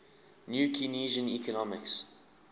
new keynesian economics